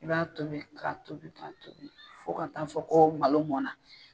I b'a tobi k'a tobi k'a tobi fo ka taa fɔ ko malo mɔnna.